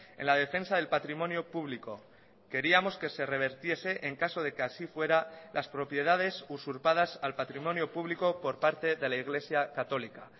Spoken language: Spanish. en la defensa del patrimonio público queríamos que se revertiese en caso de que así fuera las propiedades usurpadas al patrimonio público por parte de la iglesia católica